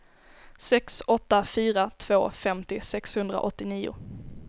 sex åtta fyra två femtio sexhundraåttionio